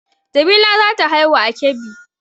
Jamila za ta haihu a Kebbi